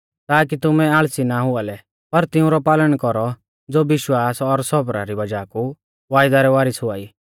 ताकि तुमै आल़सी नाईं हुआ लै पर तिऊंरौ पालन कौरौ ज़ो विश्वास और सौबरा री वज़ाह कु वायदा रै वारीस हुआई